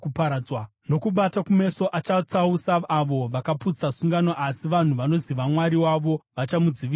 Nokubata kumeso achatsausa avo vakaputsa sungano asi vanhu vanoziva Mwari wavo vachamudzivisa kwazvo.